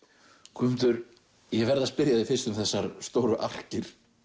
Guðmundur ég verð að spyrja þig fyrst um þessar stóru arkir